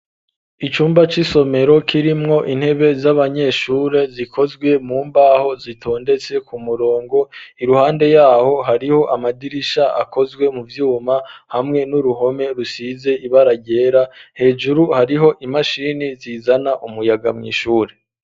Icumba c'isomero kirimwo intebe z'abanyeshure zikozwe mu mbaho zitondetse ku murongo, iruhande yaho hariho amadirisha akozwe mu vyuma hamwe n'uruhome rusize ibara ryera, hejuru hariho imashini zizana umuyaga mw'ishure.